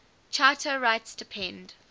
charter rights depend